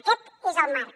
aquest és el marc